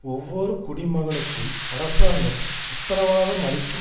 ஒவ்வொரு குடிமகனுக்கும் அரசாங்கம் உத்தரவாதம் அளிக்கும்